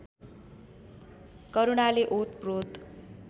करुणाले ओतप्रोत